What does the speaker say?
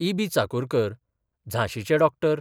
इबी चाकुरकर, झांशीचे डॉ.